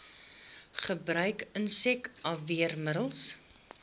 gebruik insek afweermiddels